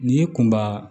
N'i ye kunba